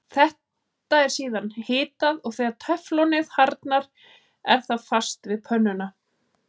Þetta er síðan hitað og þegar teflonið harðnar er það fast við pönnuna.